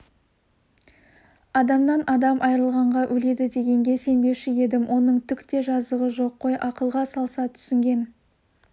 адамнан адам айырылғанға өледі дегенге сенбеуші едім оның түк те жазығы жоқ қой ақылға салса түсінген